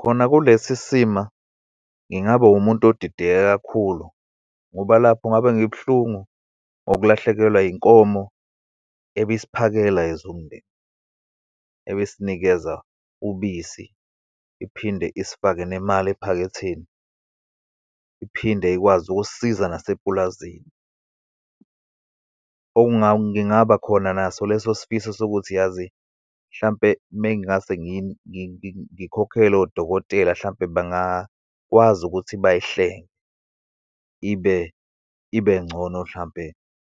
Khona kulesi sima, ngingaba umuntu odideke kakhulu, ngoba lapho ngabe ngibuhlungu ngokulahlekelwa inkomo ebisiphakela as umndeni, ebisinikeza ubisi, iphinde isifake nemali ephaketheni, iphinde ikwazi ukusisiza nasepulazini. ngingabakhona naso lesosifiso sokuthi yazi, hlampe uma ngase ngikhokhele odokotela hlampe bengakwazi ukuthi bayihlenge ibe, ibe ngcono hlampe,